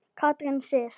Katrín Sif.